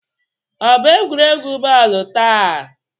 Ọ bụ egwuregwu bọọlụ taa?